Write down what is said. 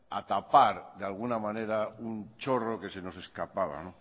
a tapar de alguna manera un chorro que se nos escapaba